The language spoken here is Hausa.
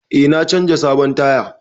Eh na canza sabon taya.